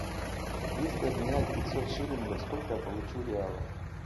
если обменять пятьсот шиллингов сколько я получу реалов